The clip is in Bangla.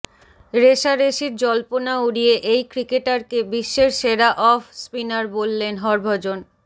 রেষারেষির জল্পনা উড়িয়ে এই ক্রিকেটারকে বিশ্বের সেরা অফ স্পিনার বললেন হরভজন